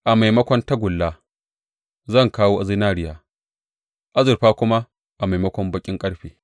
A maimakon tagulla zan kawo zinariya, azurfa kuma a maimakon baƙin ƙarfe.